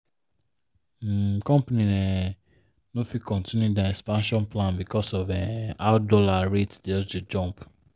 um company um no fit continue their expansion plan because of um how dollar rate just dey jump.